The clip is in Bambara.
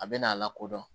A bɛ n'a lakodɔn